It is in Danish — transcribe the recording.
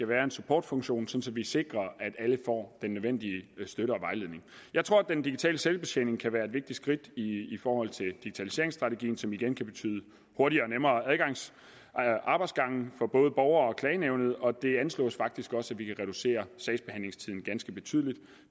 være en supportfunktion så vi sikrer at alle får den nødvendige støtte og vejledning jeg tror at den digitale selvbetjening kan være et vigtigt skridt i forhold til digitaliseringsstrategien som igen kan betyde hurtigere og nemmere arbejdsgange for både borgere og klagenævnet og det anslås faktisk også at vi kan reducere sagsbehandlingstiden ganske betydeligt